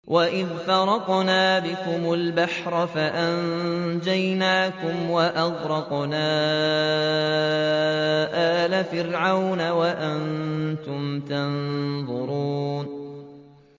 وَإِذْ فَرَقْنَا بِكُمُ الْبَحْرَ فَأَنجَيْنَاكُمْ وَأَغْرَقْنَا آلَ فِرْعَوْنَ وَأَنتُمْ تَنظُرُونَ